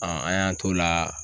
an y'an t'o la